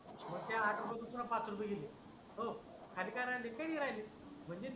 मग ते आठ रुपये यातून पाच रुपये गेले खाली किती राहिले तीन रुपये राहिले